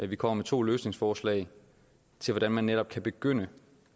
vi kommer med to løsningsforslag til hvordan man netop kan begynde